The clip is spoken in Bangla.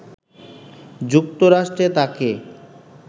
যুক্তরাষ্ট্রে তাকে